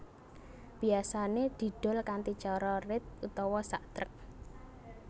Biyasané didol kanthi cara rit utawa sak trek